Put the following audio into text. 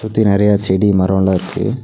சுத்தி நறைய செடி மரோல இருக்கு.